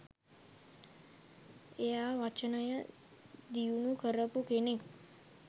එයා වචනය දියුණු කරපු කෙනෙක්.